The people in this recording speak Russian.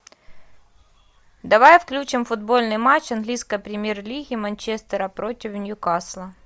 давай включим футбольный матч английской премьер лиги манчестера против ньюкасла